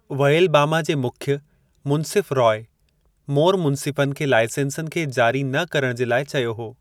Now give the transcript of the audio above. वऐलबामा जे मुख्य मुंसिफ़ु रॉय मोर मुंसिफ़नि खे लाइसेंसनि खे जारी न करणु जे लाइ चयो हो।